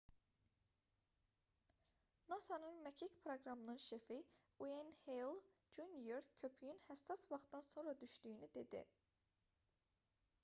nasa-nın məkik proqramının şefi n ueyn heyl jr köpüyün həssas vaxtdan sonra düşdüyünü dedi